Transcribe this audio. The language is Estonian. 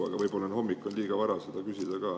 Aga võib-olla on hommikusel ajal liiga vara seda küsida ka.